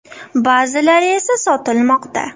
Ba’zilari esa sotilmoqda”.